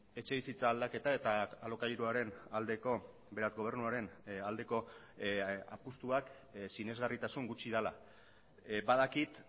etxebizitza aldaketa eta alokairuaren aldeko beraz gobernuaren aldeko apustuak sinesgarritasun gutxi dela badakit